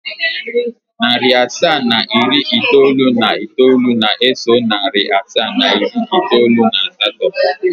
Narị asaa na iri itoolu na itoolu na-eso narị asaa na iri itoolu na asatọ.